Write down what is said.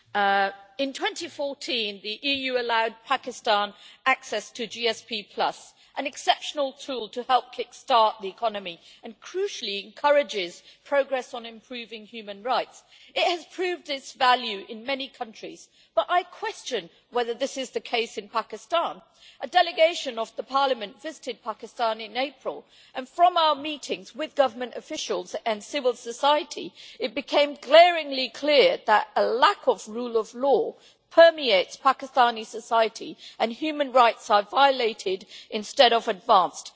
Mr President, in 2014 the EU allowed Pakistan access to GSP, an exceptional tool to help kick start the economy, and which, crucially, encourages progress on improving human rights. It has proved its value in many countries, but I question whether this is the case in Pakistan. A Parliament delegation visited Pakistan in April and, from our meetings with government officials and civil society, it became glaringly clear that a lack of the rule of law permeates Pakistani society, and human rights are violated instead of advanced.